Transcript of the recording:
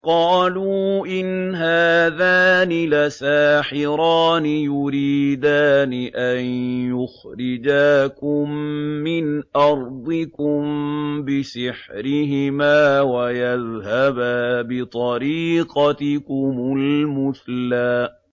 قَالُوا إِنْ هَٰذَانِ لَسَاحِرَانِ يُرِيدَانِ أَن يُخْرِجَاكُم مِّنْ أَرْضِكُم بِسِحْرِهِمَا وَيَذْهَبَا بِطَرِيقَتِكُمُ الْمُثْلَىٰ